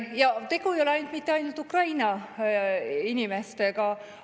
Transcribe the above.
Ja tegu ei ole mitte ainult Ukraina inimestega.